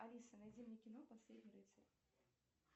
алиса найди мне кино последний рыцарь